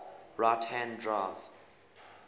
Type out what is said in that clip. right hand drive